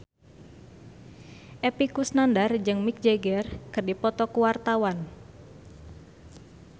Epy Kusnandar jeung Mick Jagger keur dipoto ku wartawan